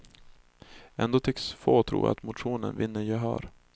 Ändå tycks få tro att motionen vinner gehör.